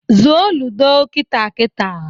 Zụọ ludo kita kita!